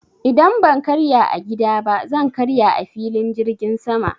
Idan ban karya a gida ba zan karya a filin jirgin sama.